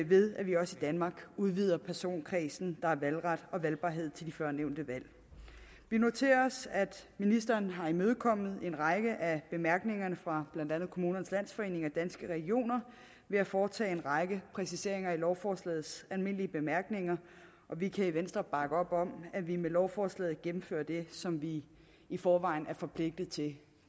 ved at vi også i danmark udvider personkredsen der har valgret og valgbarhed til de førnævnte valg vi noterer os at ministeren har imødekommet en række af bemærkningerne fra blandt andet kommunernes landsforening og danske regioner ved at foretage en række præciseringer i lovforslagets almindelige bemærkninger og vi kan i venstre bakke op om at vi med lovforslaget gennemfører det som vi i forvejen er forpligtet til